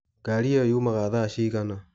Ngari ĩyo yumaga thaa cigana